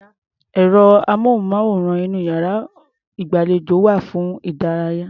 Ẹ̀rọ-amóhùnmáwòrán inú iyàrá-ìgbàlejò wà fún ìdánilárayá.